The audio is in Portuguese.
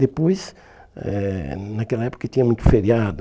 Depois, eh naquela época que tinha muito feriado,